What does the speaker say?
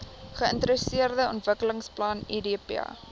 geintegreerde ontwikkelingsplan idp